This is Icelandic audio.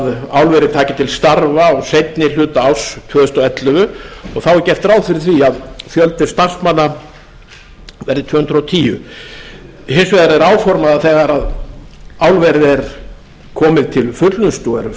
álverið taki til starfa á seinni hluta árs tvö þúsund og ellefu og þá verði fjöldi starfsmanna tvö hundruð og tíu áformað er að